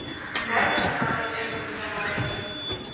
дай мне посмотреть фильм сэма рэйми